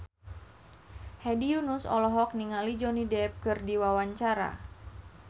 Hedi Yunus olohok ningali Johnny Depp keur diwawancara